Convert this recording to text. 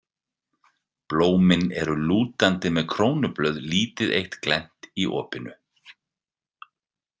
Blómin eru lútandi með krónublöð lítið eitt glennt í opinu.